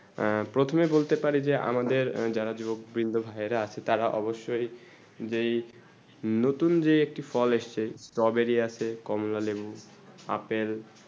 যে প্রথমে বলতে পারি যে আমাদের যারা যুবক বিন্দু ভাই রা আছে তারা অৱশ্যে যেই নতুন যেই একটি ফল আইসে চে stawberry আছে কমলা লেবু apple